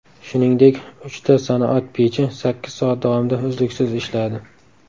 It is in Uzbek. Shuningdek, uchta sanoat pechi sakkiz soat davomida uzluksiz ishladi.